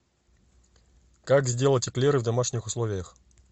как сделать эклеры в домашних условиях